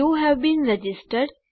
you have been registered